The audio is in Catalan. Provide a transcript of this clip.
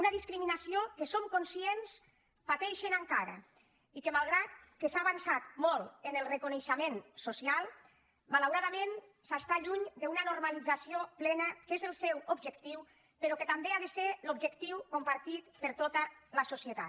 una discriminació que som conscients que pateixen encara i que malgrat que s’ha avançat molt en el reconeixement social malauradament s’està lluny d’una normalització plena que és el seu objectiu però que també ha de ser l’objectiu compartit per tota la societat